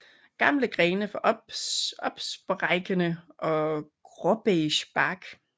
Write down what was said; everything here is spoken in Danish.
Gamle grene får opsprækkende og gråbeige bark